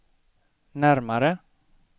närmare